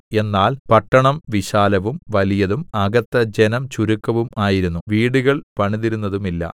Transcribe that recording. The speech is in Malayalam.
എന്നാൽ പട്ടണം വിശാലവും വലിയതും അകത്ത് ജനം ചുരുക്കവും ആയിരുന്നു വീടുകൾ പണിതിരുന്നതുമില്ല